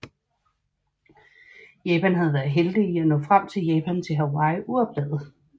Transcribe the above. Japan havde været heldige i at nå frem fra Japan til Hawaii uopdaget